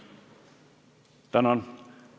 Tänan!